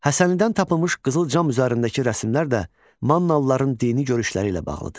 Həsənlidən tapılmış qızıl cam üzərindəki rəsimlər də mannalıların dini görüşləri ilə bağlıdır.